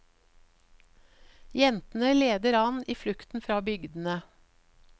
Jentene leder an i flukten fra bygdene.